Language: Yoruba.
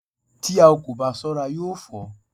Tí o kò bá ṣọ́ra yóò fọ́